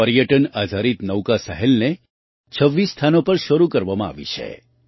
આ પર્યટન આધારિત નૌકા સહેલને 26 સ્થાનો પર શરૂ કરવામાં આવી છે